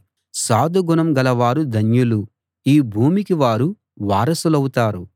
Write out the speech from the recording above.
సాధుగుణం గలవారు ధన్యులు ఈ భూమికి వారు వారసులవుతారు